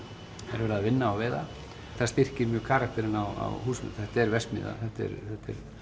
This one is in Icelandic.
er verið að vinna og veiða það styrkir mjög karakterinn á húsinu þetta er verksmiðja þetta er